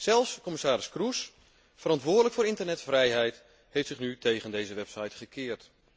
Zelfs commissaris Kroes, verantwoordelijk voor internetvrijheid, heeft zich nu tegen deze wet gekeerd.